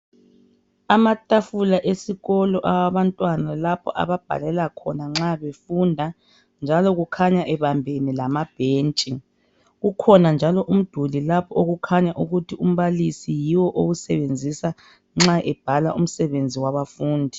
Amatafula esikolo awabantwana ababhalela khona nxa befunda njalo okukhanya ebambene lamabhentshi kukhona njalo umduli okukhanya ukuthi umbalisi yiwo owusebenzisa nxa ebhala umsebenzi wabafundi.